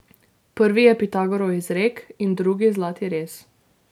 Prvi je Pitagorov izrek in drugi zlati rez.